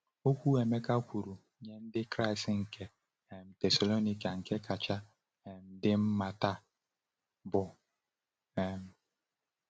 Okwu Emeka kwuru nye Ndị Kraịst nke um Thessalonika nke kacha um dị mma taa bụ? um